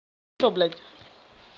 что блядь